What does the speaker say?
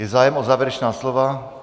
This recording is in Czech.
Je zájem o závěrečná slova?